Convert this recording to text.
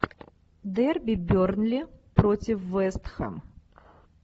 дерби бернли против вест хэм